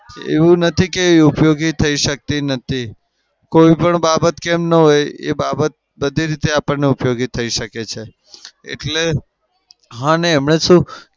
એવું નથી કે ઉપયોગી થઇ શકતી નથી. કોઈ પણ બાબત કેમ ન હોય એ બાબત બધી રીતે આપણને ઉપયોગી થઇ શકે છે.